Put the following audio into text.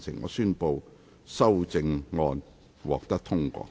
我宣布修正案獲得通過。